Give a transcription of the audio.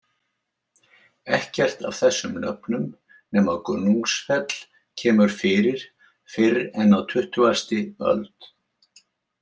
Ekkert af þessum nöfnum nema Gunnungsfell kemur fyrir fyrr en á tuttugasti öld.